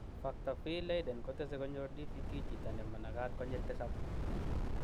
Factor V Leiden kotese konyor DVT chito nemanagat konyil tisap.